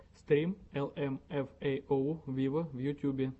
стрим эл эм эф эй оу виво в ютюбе